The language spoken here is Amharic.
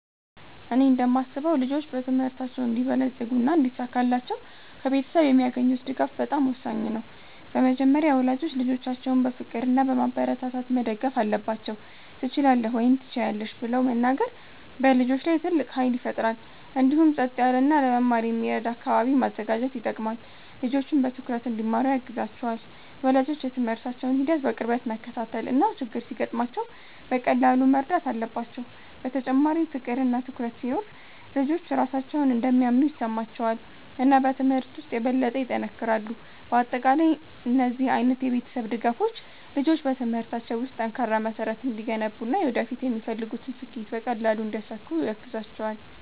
እኔ እንደማስበው ልጆች በትምህርታቸው እንዲበለጽጉና እንዲሳካላቸው ከቤተሰብ የሚያገኙት ድጋፍ በጣም ወሳኝ ነው። በመጀመሪያ ወላጆች ልጆቻቸውን በፍቅር እና በማበረታታት መደገፍ አለባቸው፤ “ትችላለህ” ወይም “ትችያለሽ ” ብለው መናገር በልጆች ላይ ትልቅ ኃይል ይፈጥራል። እንዲሁም ጸጥ ያለ እና ለመማር የሚረዳ አካባቢ ማዘጋጀት ይጠቅማል፣ ልጆችም በትኩረት እንዲማሩ ያግዛቸዋል። ወላጆች የትምህርታቸውን ሂደት በቅርበት መከታተል እና ችግር ሲገጥማቸው በቀላሉ መርዳት አለባቸው። በተጨማሪም ፍቅር እና ትኩረት ሲኖር ልጆች ራሳቸውን እንደሚያምኑ ይሰማቸዋል እና በትምህርት ውስጥ የበለጠ ይጠነክራሉ። በአጠቃላይ እነዚህ ዓይነት የቤተሰብ ድጋፎች ልጆች በትምህርታቸው ውስጥ ጠንካራ መሠረት እንዲገነቡ እና ወደፊት የሚፈልጉትን ስኬት በቀላሉ እንዲያሳኩ ያግዛቸዋል።